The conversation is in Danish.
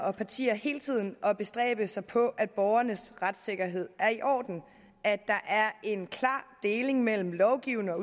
og partier hele tiden at bestræbe sig på at borgernes retssikkerhed er i orden at der er en klar deling mellem lovgivende og